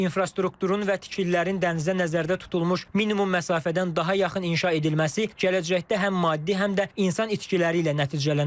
İnfrastrukturun və tikililərin dənizə nəzərdə tutulmuş minimum məsafədən daha yaxın inşa edilməsi gələcəkdə həm maddi, həm də insan itkiləri ilə nəticələnə bilər.